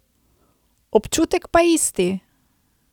Občutek pa isti.